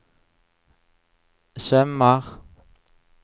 sømmer